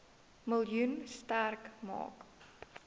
miljoen sterk maak